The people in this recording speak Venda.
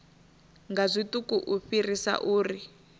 nga zwiṱuku u fhirisa uri